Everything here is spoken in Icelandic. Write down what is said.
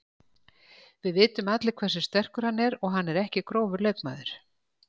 Við vitum allir hversu sterkur hann er og hann er ekki grófur leikmaður.